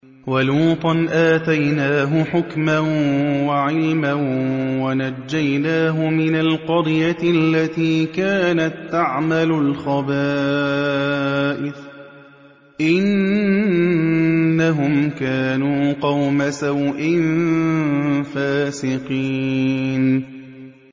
وَلُوطًا آتَيْنَاهُ حُكْمًا وَعِلْمًا وَنَجَّيْنَاهُ مِنَ الْقَرْيَةِ الَّتِي كَانَت تَّعْمَلُ الْخَبَائِثَ ۗ إِنَّهُمْ كَانُوا قَوْمَ سَوْءٍ فَاسِقِينَ